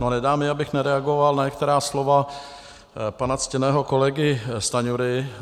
Nedá mi, abych nereagoval na některá slova pana ctěného kolegy Stanjury.